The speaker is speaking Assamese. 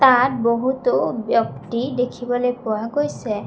তাত বহুতো ব্যক্তি দেখিবলৈ পোৱা গৈছে।